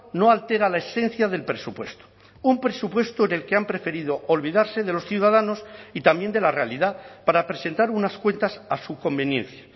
no altera la esencia del presupuesto un presupuesto en el que han preferido olvidarse de los ciudadanos y también de la realidad para presentar unas cuentas a su conveniencia